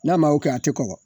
N'a ma o kɛ a te kɔgɔ.